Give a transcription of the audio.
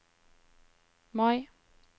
Mai